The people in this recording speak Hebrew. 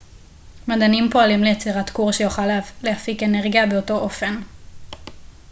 מדענים פועלים ליצירת כור שיוכל להפיק אנרגיה באותו אופן